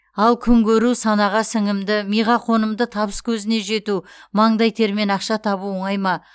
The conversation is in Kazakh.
ал күнкөру санаға сіңімді миға қонымды табыскөзіне жету маңдай термен ақша табу оңай ма